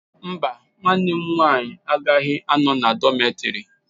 Mba, nwa m nwanyị agaghị anọ n'ụlọ dọmetịrị